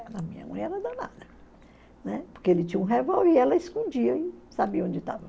A minha mãe era danada, né, porque ele tinha um revólver e ela escondia e sabia onde estava.